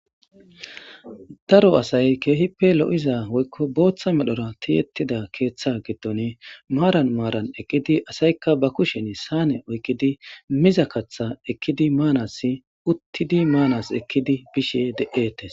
Daro asay keehippe lo'iza woykko booththa medhora tiyettida keeththa giddon maaran maaran eqqidi asaykka ba kushen saane oykkidi miza katha ekkidi maanas uttidi maanas ekkidi bishe de'etes.